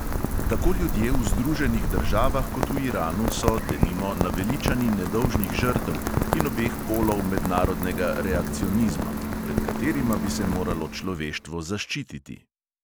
Tako ljudje v združenih državah kot v iranu so, denimo, naveličani nedolžnih žrtev in obeh polov mednarodnega reakcionizma, pred katerima bi se moralo človeštvo zaščititi.